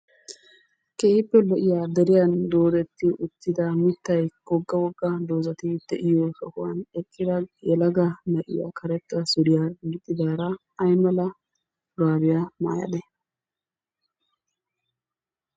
Keehippe lo'iya deriyan doodetti uttida mittay, wogga wogga doozati diyo sohuwan eqqida yelaga na'iya karetta suriya gixxidaara ay mala shuraabiya maayadee?